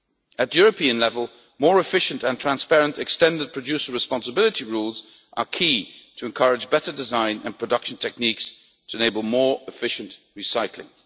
At European level, more efficient and transparent extended producer responsibility rules are key to encouraging better design and production techniques to enable more efficient recycling.